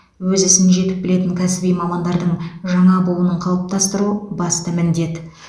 өз ісін жетік білетін кәсіби мамандардың жаңа буынын қалыптастыру басты міндет